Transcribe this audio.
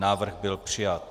Návrh byl přijat.